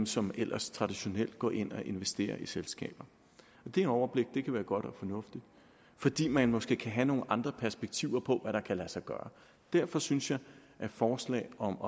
som ellers traditionelt går ind og investerer i selskaber det overblik kan være godt og fornuftigt fordi man måske kan have nogle andre perspektiver på hvad der kan lade sig gøre derfor synes jeg at forslaget om